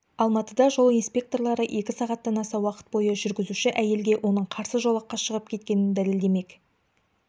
алматыда жол инспекторлары екі сағаттан аса уақыт бойы жүргізуші әйелге оның қарсы жолаққа шығып кеткенін дәлелдемек